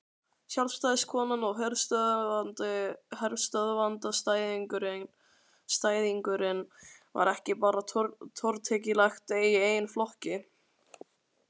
Sjálfstæðiskonan og herstöðvaandstæðingurinn var ekki bara tortryggileg í eigin flokki.